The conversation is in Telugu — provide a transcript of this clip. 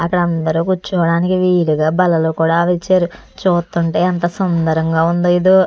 అందరూ కూర్చోవడానికి వీలుగా బలలో కూడా తెచ్చారు. చూస్తుంటే అంత సుందరంగా ఉంది ఇది.